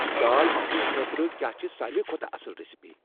دال مکھنِی خٲطرٕ کیا چِھ ساروٕے کھۄتہٕ اصل ریسِپی ؟